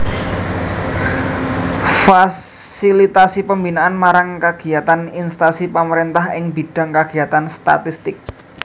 Fasilitasi pembinaan marang kagiyatan instansi pamaréntah ing bidhang kagiyatan statistik